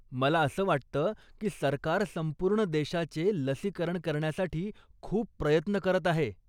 मला असं वाटतं की सरकार संपूर्ण देशाचे लसीकरण करण्यासाठी खूप प्रयत्न करत आहे.